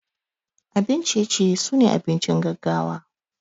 Abun ciye ciye sune abincin gaggawa.